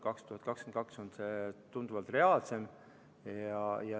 2022 on see tunduvalt reaalsem.